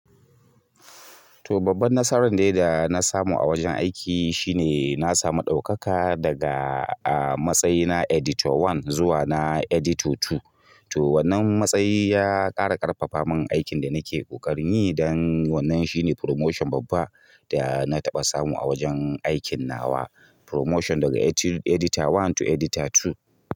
To babban nasaran ɗaya da na samu a wajen aiki shine na samu ɗaukaka daga a matsayina editor one zuwa na editor two. Toh wannan matsayi ya ƙara ƙarfafa mun aikin da nake ƙoƙarin yi don wannan shine promotion babba wanda na taɓa samu a wajen aiki. Promotion daga editor one to editor two.